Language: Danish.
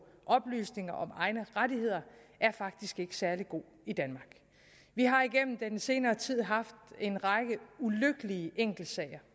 oplysninger om egne rettigheder faktisk ikke er særlig god i danmark vi har igennem den senere tid haft en række ulykkelige enkeltsager